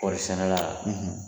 Kɔɔrisɛnɛna la